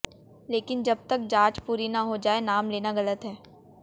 लेकिन जब तक जांच पूरी ना हो जाए नाम लेना गलत है